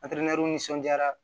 ni nisɔndiyara